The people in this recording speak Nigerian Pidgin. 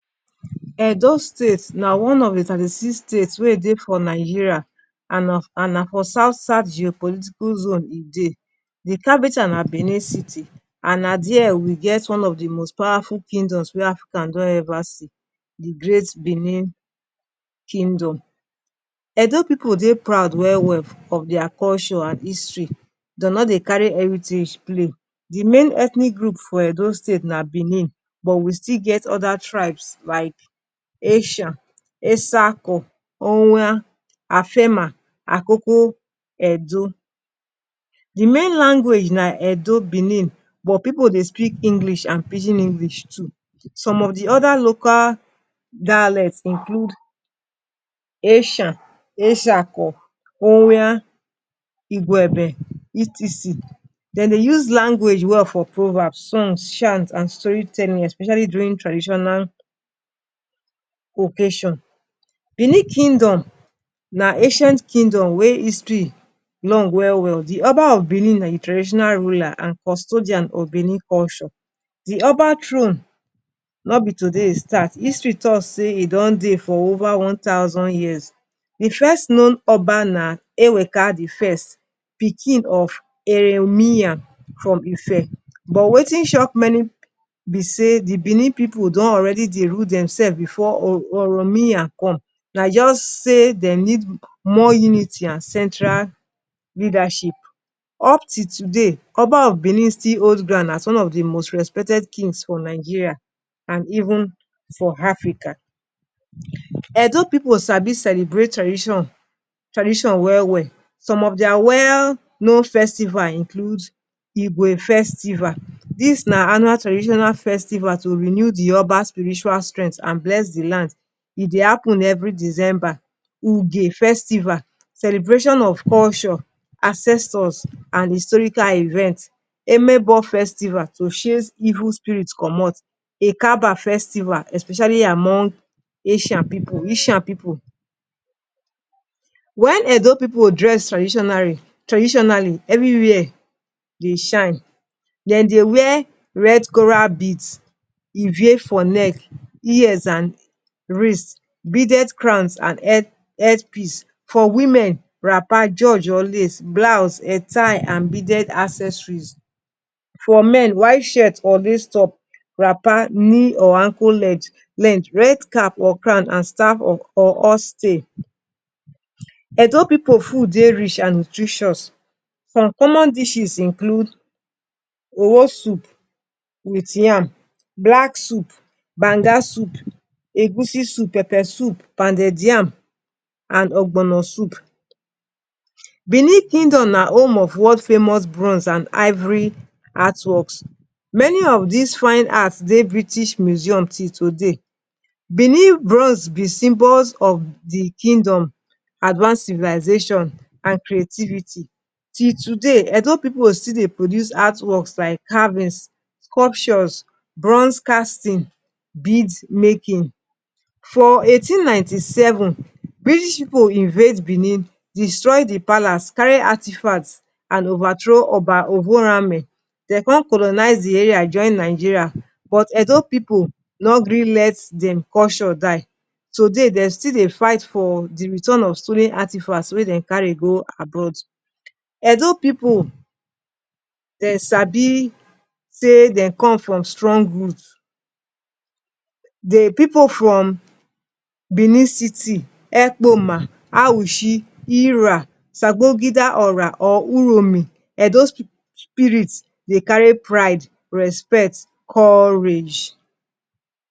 Edo State na one of the thirty-six state wey dey for Nigeria and na for south-south geopolitical zone e dey. The capital na Benin City. And na there we get one of the most powerful kingdoms wey Africa don ever see – the great Benin Kingdom. Edo pipu dey proud well well of their culture and history. Dem no dey carry heritage play. The main ethnic group for Edo State na Benin. But we still get other tribes like Esan, Etsako, Owan, Afemai, Akoko Edo. The main language na Edo (Benin), but pipu dey speak English and Pidgin English too. Some of the other local dialects include Esan, Etsako, Owan, Igwebe, e.t.c. Dem dey use language well for proverbs, songs, chants, and storytelling – especially during traditional occasion. Benin Kingdom na ancient kingdom wey history long well well. The Oba of Benin na the traditional ruler and custodian of Benin culture. The Oba throne no be today e start. History talk say e don dey for over one thousand years. The first known Oba na Eweka the First, pikin of Oromiyan from Ife. But wetin shock many pipu be say the Benin pipu don already dey rule demself before Oromiyan come. Na just say dem need more unity and central leadership. Up till today, Oba of Benin still hold ground as one of the most respected kings in Nigeria and even for Africa. Edo pipu sabi celebrate tradition well well. Some of their well-known festivals include: • Igue Festival: Annual traditional festival to renew the Oba spiritual strength and bless the land. E dey happen every December. Celebration of culture, ancestors, and historical events. • Emebo Festival: To chase evil spirits comot. • Ekaba Festival: Especially among Ishan pipu. When Edo pipu dress traditionally, everywhere dey shine. Dem dey wear red coral beads (called ivie) for neck, ears and wrist. Beaded crowns and headpiece. For women: wrapper, george or lace, blouse, head tie and beaded accessories. For men: white shirt or lace top, wrapper (knee or ankle length), red cap or crown, and staff or horsetail. Edo pipu food dey rich and nutritious. Some dishes include Omo soup with yam, black soup, banga soup, egusi soup, pepper soup, pounded yam and ogbono soup. Benin Kingdom na home of bronze and ivory artworks. Many of these artworks dey British Museum till today. Benin bronze be symbol of the kingdom advanced civilization and creativity. Till today, Edo pipu still dey produce artworks like carvings, sculptures, bronze casting, beads making. For 1897, British pipu invade Benin, destroy the palace, carry artifacts, and overthrow Oba Ovonramwen. Dem con colonize the area join Nigeria – but Edo pipu no gree let dem culture die. Today, dem still dey fight for the return of stolen artifacts wey dem carry go abroad. Edo pipu sabi say dem come from strong root. Whether the pipu from Benin City, Ekpoma, Auchi, Erah, Sabon Gida Ora or Uromi – Edo spirit dey carry pride, respect and courage.